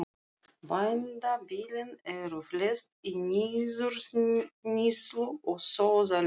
Bændabýlin eru flest í niðurníðslu og sóðaleg.